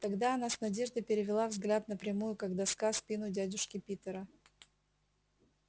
тогда она с надеждой перевела взгляд на прямую как доска спину дядюшки питера